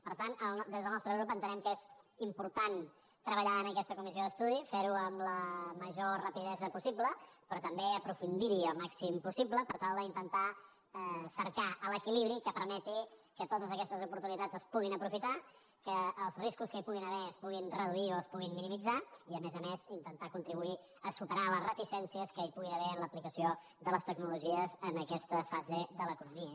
per tant des del nostre grup entenem que és important treballar en aquesta comissió d’estudi fer ho amb la major rapidesa possible però també aprofundir hi el màxim possible per tal d’intentar cercar l’equilibri que permeti que totes aquestes oportunitats es puguin aprofitar que els riscos que hi puguin haver es puguin reduir o es puguin minimitzar i a més a més intentar contribuir a superar les reticències que hi puguin haver en l’aplicació de les tecnologies en aquesta fase de l’economia